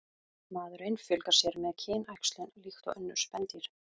Maðurinn fjölgar sér með kynæxlun líkt og önnur spendýr.